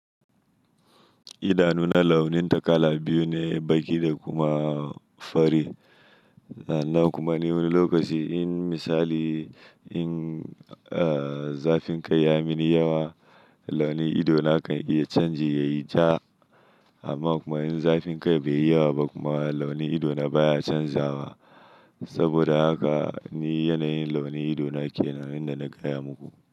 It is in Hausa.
Idanuna launinta kala biyu ne, baki da kuma fari. Nan kuma ni wani lokaci in misali in, zafinka ya mini yawa, launin idona kan iya canji yayi ja. Amma kuma in zafinkai bai yi yawa ba kuma launin idona baya canzawa. Saboda haka ni yanayin launin idona kenan yanda na gaya muku.